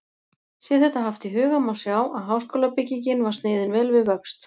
Sé þetta haft í huga, má sjá, að háskólabyggingin var sniðin vel við vöxt.